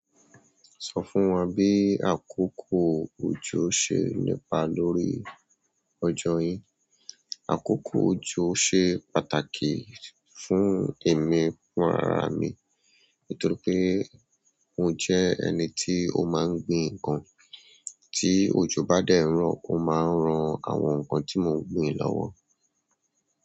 Sọ fún wa bí àkókò òjò ṣe nípa lórí ọjọ́ yín. Àkókò òjò ṣe pàtàkì fún èmi fún ara mi. Nítorí pé mo jẹ́ ẹni tí ó máa ń gbin ǹkan, tí òjò bá dẹ́ nrọ ó máa ń ran àwọn ǹkan tí mò ń gbin lọ́wọ́.